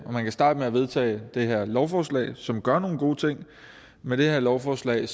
og man kan starte med at vedtage det her lovforslag som gør nogle gode ting med det her lovforslag